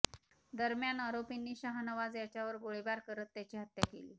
दरम्यान आरोपींनी शाहनवाज याच्यावर गोळीबार करत त्याची हत्या केली